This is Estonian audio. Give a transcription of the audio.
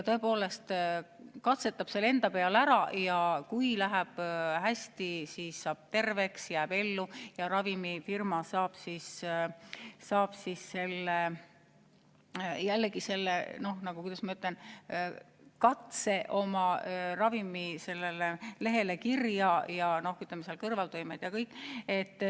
Ta katsetab selle enda peal ära ja kui läheb hästi, siis saab terveks, jääb ellu, ravimifirma aga saab selle, kuidas ma ütlen, katse oma ravimi lehele kirja panna, märkides ka kõrvaltoimed ja kõik muu.